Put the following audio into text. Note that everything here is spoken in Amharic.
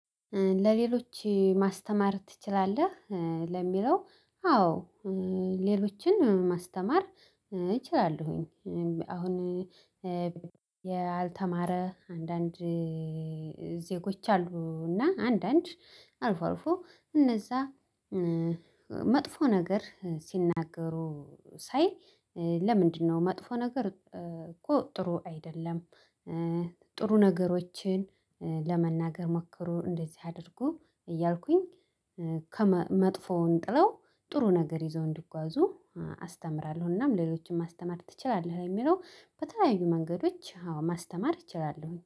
ለሌሎች ማስተማር ትችላለህ? ለሚለው አዎ ሌሎችን ማስተማር እችላለሁኝ። አሁን ያልተማረ አንዳንድ ዜጎች አሉና አንዳንድ አልፎ አልፎ እነዛ መጥፎ ነገር ሲናገሩ ሳይ። ለምንድነው መጥፎ ነገር እኮ ጥሩ አይደለም? ጥሩ ነገሮችን ለመናገር ሞከሩ እንደዚህ አድርጉ እያልኩኝ ከመ መጥፎውን ጥለው ጥሩ ነገር ይዘው እንዲጓዙ አስተምራለሁ። ለሌሎችም ማስተማር ትችላለህ የሚለው በተለያዩ መንገዶች አዎ ማስተማር እችላለሁኝ